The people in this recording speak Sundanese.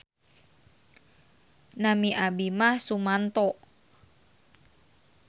Nami abdi mah Sumanto.